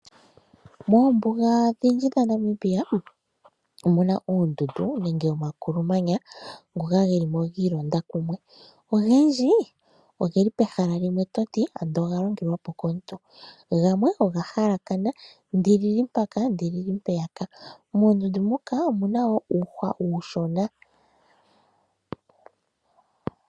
Moombuga odhindji dhaNamibia omu na uundundu nenge omakulumanya ngoka ge li mo giilonda kumwe .Ogendji ogeli pehala limwe to ti ando oga longelwapo komuntu, gamwe oga halakana (ndi li li mpaka ndi li li mpeyaka).Moondundu muka omu na wo uuhwa uushona.